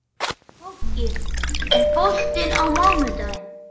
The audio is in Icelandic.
Koggi, er bolti á mánudaginn?